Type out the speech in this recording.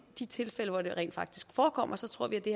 de tilfælde hvor det rent faktisk forekommer tror at det